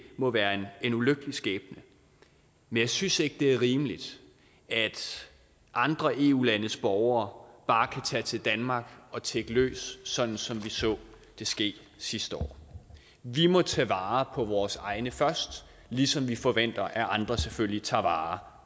må være en ulykkelig skæbne men jeg synes ikke at det er rimeligt at andre eu landes borgere bare kan tage til danmark og tigge løs sådan som vi så det ske sidste år vi må tage vare på vores egne først ligesom vi forventer at andre selvfølgelig tager vare